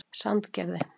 Sandgerði